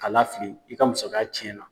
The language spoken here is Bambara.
K'a lafili i ka musaka cɛnna.